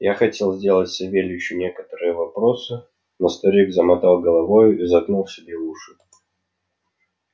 я хотел сделать савельичу некоторые вопросы но старик замотал головою и заткнул себе уши